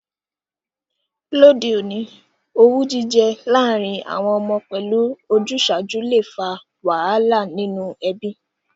Lóde ọ̀ní, owú jijẹ lárìn àwon ọmọ pẹ́lu ojúsàju le fa wàhálà nínú ebí